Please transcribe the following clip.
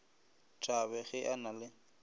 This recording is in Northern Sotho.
thabe ge a na le